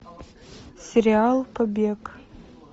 сериал побег